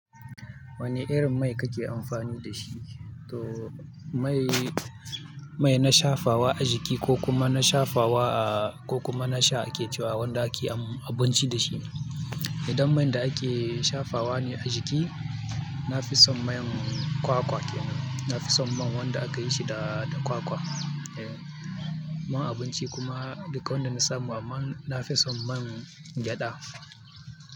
Wani irin mai kake amfani da shi? To mai, mai na shafa wa a jiki ko kuma na shafa wa, ko kuma na sha ake cewa wanda ake abinci da shi. Idan man da ake shafa wa ne a jiki, nafison man kwakwa kenan, nafison man wanda akayi shi da kwakwa. Man abinci kuma duk wanda na samu amma nafison man gyaɗa.